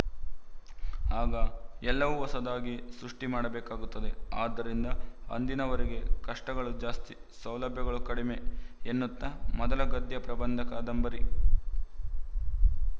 ಆಗ ಎಲ್ಲವೂ ಹೊಸದಾಗಿ ಸೃಷ್ಟಿ ಮಾಡಬೇಕಾಗುತ್ತದೆ ಆದ್ದರಿಂದ ಅಂದಿನವರಿಗೆ ಕಷ್ಟಗಳು ಜಾಸ್ತಿ ಸೌಲಭ್ಯಗಳು ಕಡಿಮೆ ಎನ್ನುತ್ತಾ ಮೊದಲ ಗದ್ಯ ಪ್ರಬಂಧಕಾದಂಬರಿ